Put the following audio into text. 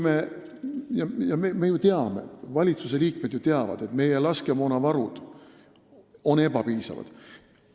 Me ju teame – ka valitsuse liikmed teavad –, et meie laskemoonavarud on ebapiisavad.